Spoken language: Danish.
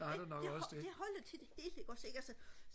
det det holder til det hele ikke også ikke så